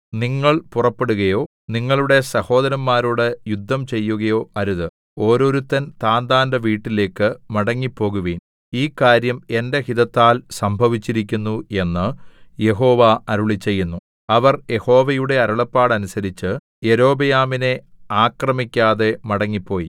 നിങ്ങൾ പുറപ്പെടുകയോ നിങ്ങളുടെ സഹോദരന്മാരോട് യുദ്ധം ചെയ്യുകയോ അരുത് ഓരോരുത്തൻ താന്താന്റെ വീട്ടിലേക്കു മടങ്ങിപ്പോകുവിൻ ഈ കാര്യം എന്റെ ഹിതത്താൽ സംഭവിച്ചിരിക്കുന്നു എന്ന് യഹോവ അരുളിച്ചെയ്യുന്നു അവർ യഹോവയുടെ അരുളപ്പാട് അനുസരിച്ച് യൊരോബെയാമിനെ ആക്രമിക്കാതെ മടങ്ങിപ്പോയി